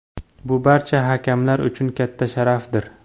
Bu barcha hakamlar uchun katta sharafdir.